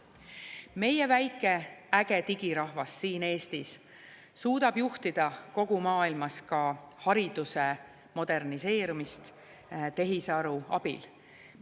Meie väike äge digirahvas siin Eestis suudab juhtida kogu maailmas ka hariduse moderniseerimist tehisaru abil.